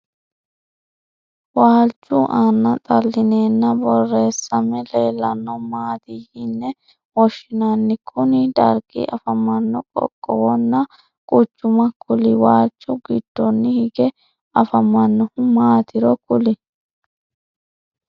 Waaluchu anna xalineenna boreessame leellano maati yinne woshinnanni? Kunni dargi afamano qoqowonna quchuma kuli? Waalcho gidonni hige afamanohu maatiro kuli?